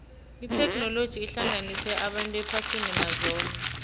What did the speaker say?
itheknoloji ihlanganisa abantu ephasini mazombe